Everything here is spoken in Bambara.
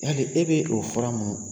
Ne e bɛ o fura ninnu